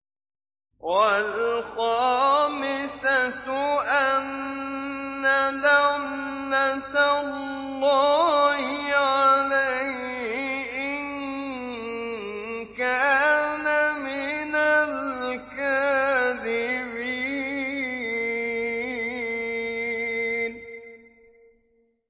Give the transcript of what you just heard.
وَالْخَامِسَةُ أَنَّ لَعْنَتَ اللَّهِ عَلَيْهِ إِن كَانَ مِنَ الْكَاذِبِينَ